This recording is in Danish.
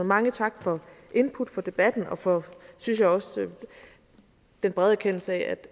mange tak for input for debatten og for synes jeg også den brede erkendelse af